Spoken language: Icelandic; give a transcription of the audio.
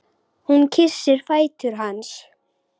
Hún kyssir fætur hans.